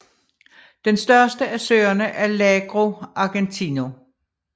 Den største af søerne er Lago Argentino